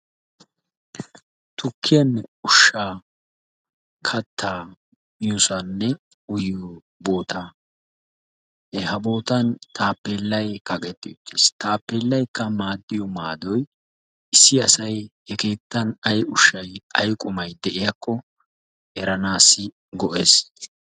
Tukkiyanne ushshaa kattaa miyosaanne uyiyo bootaa. Ha bootan taappeellayi kaqetti uttis. Taappeellaykka maaddiyo maadoyi issi asayi he keettan ayi ushshayi ayi qumayi de"iyakko eranaassi go"es.